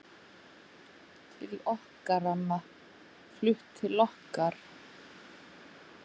Til okkar amma, flutt til okkar.